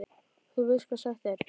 Og þú veist hvað sagt er?